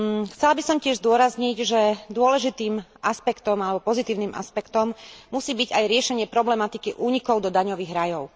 Chcela by som tiež zdôrazniť, že dôležitým aspektom alebo pozitívnym aspektom musí byť aj riešenie problematiky únikov do daňových rajov.